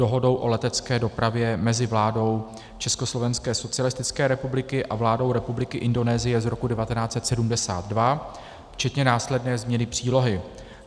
Dohodou o letecké dopravě mezi vládou Československé socialistické republiky a vládou Republiky Indonésie z roku 1972 včetně následné změny přílohy.